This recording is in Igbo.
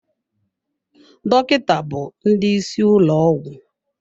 Dọkịta bụ ndị isi ụlọ ọgwụ.